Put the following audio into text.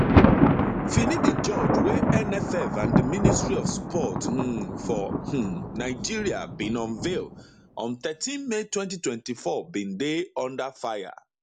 finidi george wey nff and di ministry of sports um for um nigeria bin unveil on thirteen may 2024 bin dey under fire